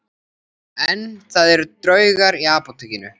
En það eru draugar í Apótekinu